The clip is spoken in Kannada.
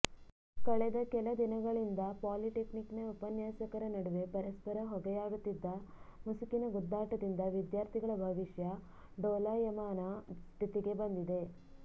ಕಳೆದ ಕೆಲ ದಿನಗಳಿಂದ ಪಾಲಿಟೆಕ್ನಿಕ್ನ ಉಪನ್ಯಾಸಕರ ನಡುವೆ ಪರಸ್ಪರ ಹೊಗೆಯಾಡುತ್ತಿದ್ದ ಮುಸುಕಿನ ಗುದ್ದಾಟದಿಂದ ವಿದ್ಯಾರ್ಥಿಗಳ ಭವಿಷ್ಯ ಡೋಲಾಯಮಾನ ಸ್ಥಿತಿಗೆ ಬಂದಿದೆ